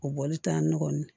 O bɔli t'an nɔ